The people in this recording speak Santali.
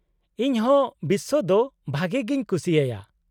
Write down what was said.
-ᱤᱧ ᱦᱚᱸ ᱵᱤᱥᱥᱚ ᱫᱚ ᱵᱷᱟᱜᱮ ᱜᱮᱧ ᱠᱩᱥᱤᱭᱟᱭᱟ ᱾